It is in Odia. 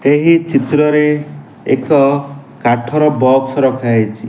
ଏହି ଚିତ୍ରରେ ଏକ କାଠର ବକ୍ସ ରଖାହେଇଚି ।